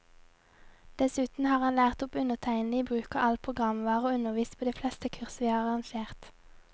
Dessuten har han lært opp undertegnede i bruk av all programvare, og undervist på de fleste kurs vi har arrangert.